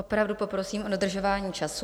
Opravdu poprosím o dodržování času.